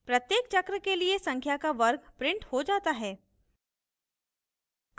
प्रत्येक चक्र के लिए संख्या का वर्ग printed हो जाता है